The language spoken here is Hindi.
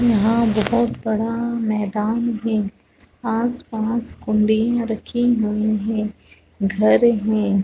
यहाँ बहुत बड़ा मैदान है आस-पास कुंडिया रखी हुई है घर है।